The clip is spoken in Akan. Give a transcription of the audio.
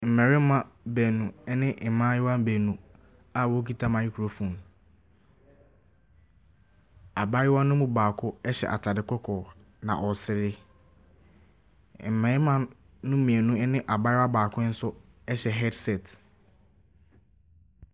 Mmarima baanu be mmaayewa baanu a wɔkita microphone. Abaayewano mu baako hyɛ atadeɛ kɔkɔɔ, na ɔresere. Mmarima no mmienu ne abaayewa baako nso hyɛ headset.